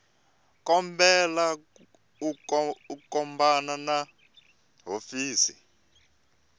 kombela u khumbana na hofisi